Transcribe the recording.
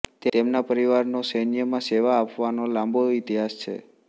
તેમના પરિવારનો સૈન્યમાં સેવા આપવાનો લાંબો ઈતિહાસ છે